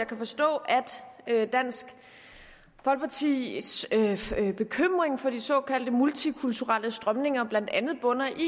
kan forstå at dansk folkepartis bekymring for de såkaldte multikulturelle strømninger blandt andet bunder i